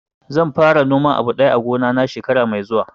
Zan fara noman abu daya a gona na shekara mai zuwa